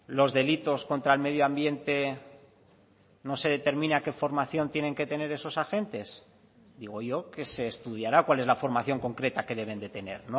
los delitos contra el medio ambiente no se determina qué formación tienen que tener esos agentes digo yo que se estudiará cuál es la formación concreta que deben de tener